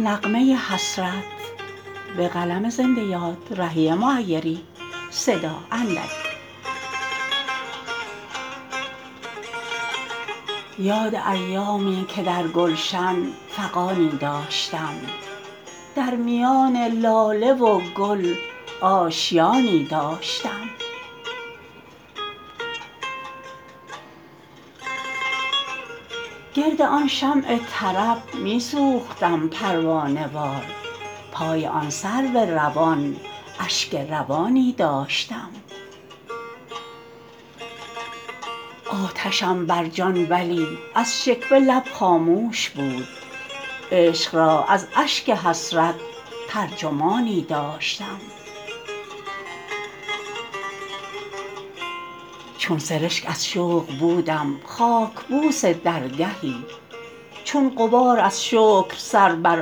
یاد ایامی که در گلشن فغانی داشتم در میان لاله و گل آشیانی داشتم گرد آن شمع طرب می سوختم پروانه وار پای آن سرو روان اشک روانی داشتم آتشم بر جان ولی از شکوه لب خاموش بود عشق را از اشک حسرت ترجمانی داشتم چون سرشک از شوق بودم خاک بوس درگهی چون غبار از شکر سر بر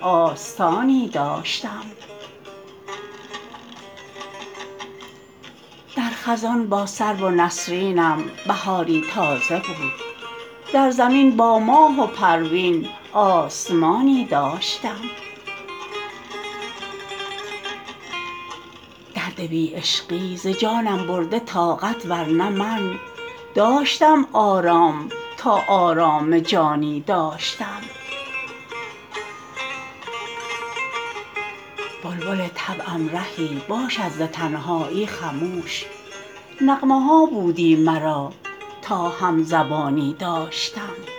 آستانی داشتم در خزان با سرو و نسرینم بهاری تازه بود در زمین با ماه و پروین آسمانی داشتم درد بی عشقی ز جانم برده طاقت ورنه من داشتم آرام تا آرام جانی داشتم بلبل طبعم رهی باشد ز تنهایی خموش نغمه ها بودی مرا تا هم زبانی داشتم